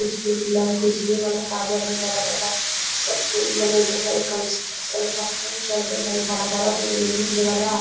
बिजली वाला बिजली वाला टावर हेय बड़ा बड़ा सब पुल बनते हेय कंस्ट्रक्शन वाला काम चलते हेय बड़ा-बड़ा पुल उल --